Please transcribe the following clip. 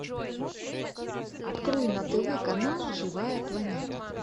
открой на тв канал живая планета